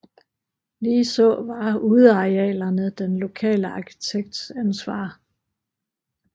Ligeså var udearealerne den lokale arkitekts ansvar